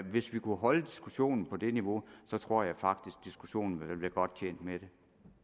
hvis vi kunne holde diskussionen på det niveau tror jeg faktisk diskussionen ville være godt tjent med